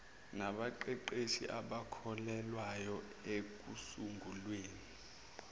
nabaqeqeshi abakhokhelwayo ekusunguleni